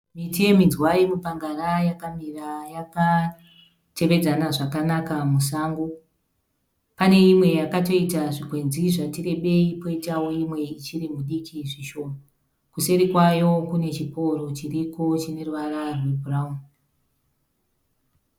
Miti yeminzwa yemipangara yakamira yakatevedzana zvakanaka musango. Pane imwe yakatoita zvikwenzi zvati rebei kwoitawo imwe ichiri midiki zvishoma. Kuseri kwayo kune chiporo chiriko chine ruvara rwebhurauni.